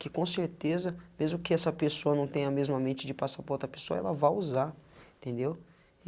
que com certeza, mesmo que essa pessoa não tenha a mesma mente de passar para outra pessoa, ela vá usar, entendeu?